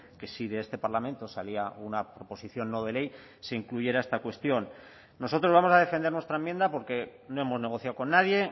que si de este parlamento salía una proposición no de ley se incluyera esta cuestión nosotros vamos a defender nuestra enmienda porque no hemos negociado con nadie